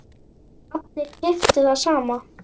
Allir keyptu það sama.